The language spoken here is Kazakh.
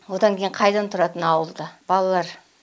одан кейін қайдан тұрады мына ауылда балалар